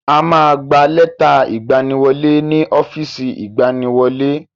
A ma gba lẹ́tà ìgbaniwọlé ni ọ́fìsì ìgbaniwọlé.